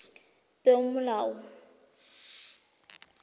peomolao